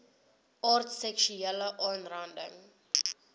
aard seksuele aanranding